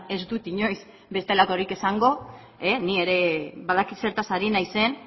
ez dut inoiz bestelakorik esango ni ere badakit zertaz hari naizen